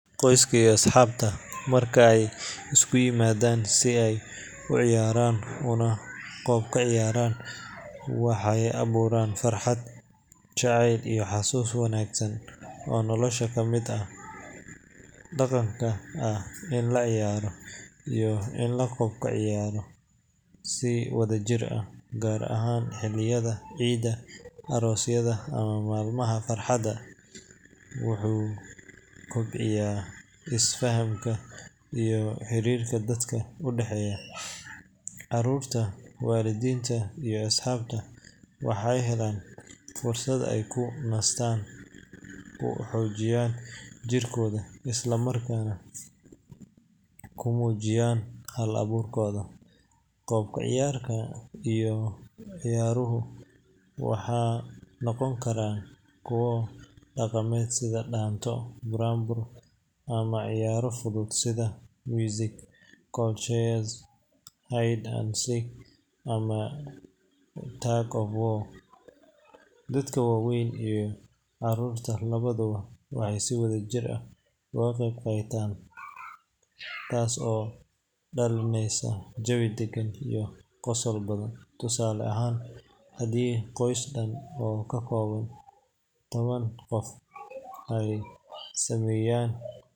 Qoyska iyo asxaabta marka ay isugu yimaadaan si ay u ciyaaraan una qoob-ka-ciyaaraan, waxay abuuraan farxad, jacayl iyo xasuus wanaagsan oo nolosha ka mid noqda. Dhaqanka ah in la ciyaaro iyo in la qoob-ka-ciyaaro si wadajir ah, gaar ahaan xilliyada ciidaha, aroosyada ama maalmaha fasaxa, wuxuu kobciyaa isfahamka iyo xiriirka dadka u dhexeeya. Carruurta, waalidiinta, iyo asxaabta waxay helaan fursad ay ku nastaan, ku xoojiyaan jirkooda, isla markaana ku muujiyaan hal-abuurkooda. Qoob-ka-ciyaarka iyo ciyaaruhu waxay noqon karaan kuwa dhaqameed sida dhaanto, buraanbur, ama ciyaaro fudud sida musical chairs, hide and seek, ama tug of war. Dadka waaweyn iyo carruurta labaduba waxay si wadajir ah uga qayb qaadan karaan, taas oo dhalinaysa jawi degan iyo qosol badan. Tusaale ahaan, haddii qoys dhan oo ka kooban toban qof ay sameeyaan.